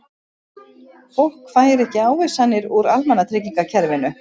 Fólk fær ekki ávísanir úr almannatryggingakerfinu